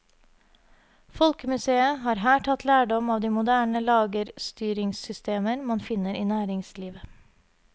Folkemuseet har her tatt lærdom av de moderne lagerstyringssystemer man finner i næringslivet.